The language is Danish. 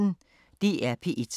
DR P1